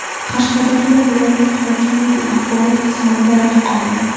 Qashqadaryo viloyat hokimligi axborot xizmati rahbari.